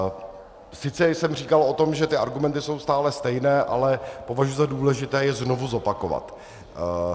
Sice jsem říkal o tom, že ty argumenty jsou stále stejné, ale považuji za důležité je znovu zopakovat.